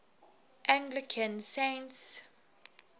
anglican saints